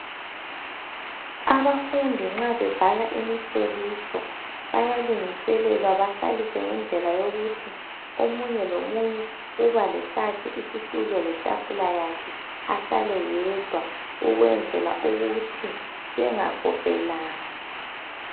Abafundi nxa bebhala imihloliso bayalungiselelwa bahlaliswe ngendlela yokuthi omunye lomunye ubalesakhe isitulo letafula yakhe yedwa ukwenzela ukuthi bengakophelani .